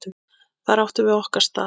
Þar áttum við okkar stað.